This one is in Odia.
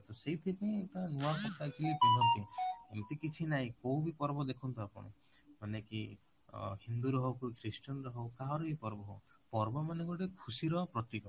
ତ ସେଇଥି ପାଇଁ ଏଇଟା ନୂଆ କପଡା କି ପିନ୍ଧନ୍ତି ଏମିତି କିଛି ନାଇଁ କୋଉ ବି ପର୍ବ ଦେଖନ୍ତୁ ଆପଣ ମାନେ କି ଅ ହିନ୍ଦୁ ର ହଉ କି christian ହଉ କାହାର ବି ହଉ ପର୍ବ ମାନେ ଗୋଟେ ଖୁସି ର ପ୍ରତୀକ